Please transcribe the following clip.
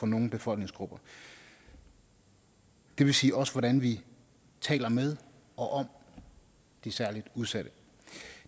nogle befolkningsgrupper det vil sige også hvordan vi taler med og om de særligt udsatte